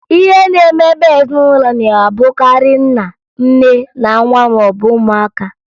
Ihe na-emebe ezinụlọ na-abụkarị nna, nne, na nwa maọbụ ụmụaka